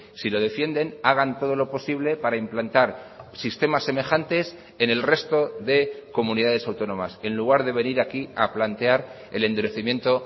si lo defienden hagan todo lo posible para implantar sistemas semejantes en el resto de comunidades autónomas en lugar de venir aquí a plantear el endurecimiento